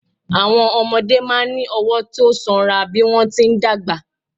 Àwọn ọmọdé máa ń ní ọwọ́ tó sanra bí wọ́n ti ń dàgbà.